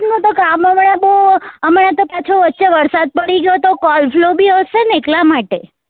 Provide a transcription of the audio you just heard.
office માં તો કામ વાળા બઉ અમારે તો પાછો વચે વરસાદ પડી ગયો તો બી હશે ને એટલા માટે